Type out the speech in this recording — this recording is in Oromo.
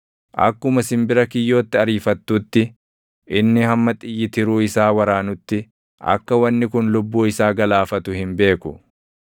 akkuma simbira kiyyootti ariifattuutti, inni hamma xiyyi tiruu isaa waraanutti akka wanni kun lubbuu isaa galaafatu hin beeku.